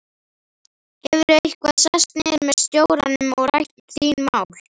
Hefurðu eitthvað sest niður með stjóranum og rætt þín mál?